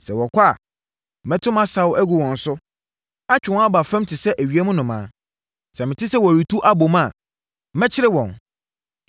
Sɛ wɔkɔ a, mɛto mʼasau agu wɔn so; atwe wɔn aba fam te sɛ ewiem nnomaa. Sɛ mete sɛ wɔretu abom a, mɛkyere wɔn.